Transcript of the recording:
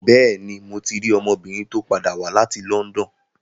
Bẹ́ẹ̀ni, mo ti rí ọmọbìnrin tó padà wá láti London.